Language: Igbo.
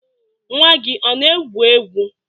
Nwa gị ọ na-egwu egwu?